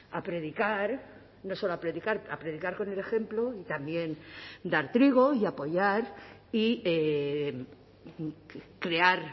a predicar no solo a predicar a predicar con el ejemplo y también dar trigo y apoyar y crear